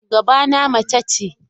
Shugabana mace ce.